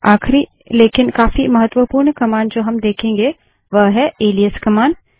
आखिरी लेकिन काफी महत्वपूर्ण कमांड जो हम देखेंगे वह है एलाइस कमांड